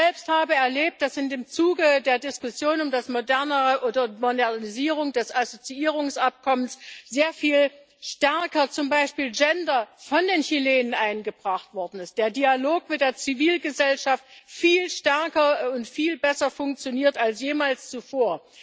Ich selbst habe erlebt, dass im Zuge der Diskussion um die Modernisierung des Assoziierungsabkommens zum Beispiel Gender sehr viel stärker von den Chilenen eingebracht worden ist, der Dialog mit der Zivilgesellschaft viel stärker und viel besser funktioniert als jemals zuvor.